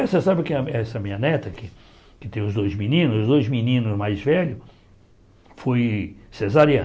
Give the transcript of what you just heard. Você sabe que a essa minha neta, que teve os dois meninos, os dois meninos mais velhos, foi cesariana.